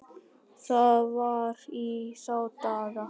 Það var í þá daga!